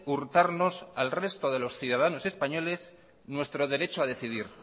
hurtarnos al resto de los ciudadanos españoles nuestro derecho a decidir